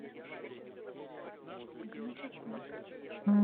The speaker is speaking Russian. гнатюку